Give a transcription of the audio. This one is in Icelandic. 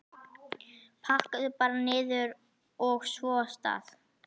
Pakkaðu bara niður, og svo af stað!